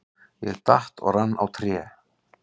Ég datt og rann á tré.